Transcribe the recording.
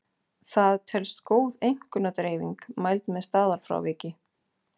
Það telst góð einkunnadreifing mæld með staðalfráviki.